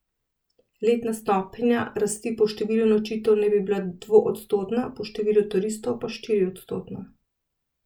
Letna stopnja rasti po številu nočitev naj bi bila dvoodstotna, po številu turistov pa štiriodstotna.